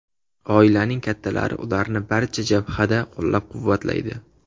Oilaning kattalari ularni barcha jabhada qo‘llab-quvvatlaydi.